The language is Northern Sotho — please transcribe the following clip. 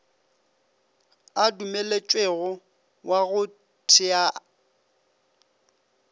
a dumeletšwego wa go thea